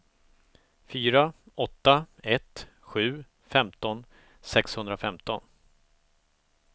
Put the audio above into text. fyra åtta ett sju femton sexhundrafemton